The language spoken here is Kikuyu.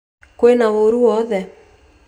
Kwĩna ũru wowothe